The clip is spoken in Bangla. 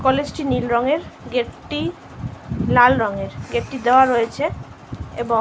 কলেজ -টি নীল রঙের গেট -টি লাল রঙের গেট -টি দেওয়া রয়েছে এবং--